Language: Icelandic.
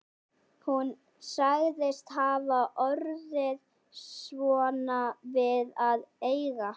Hún sagðist hafa orðið svona við að eiga hann